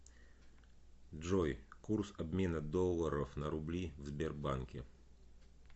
джой курс обмена долларов на рубли в сбербанке